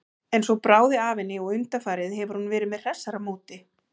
En svo bráði af henni og undanfarið hefur hún verið með hressara móti.